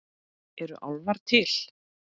Eru álfar til?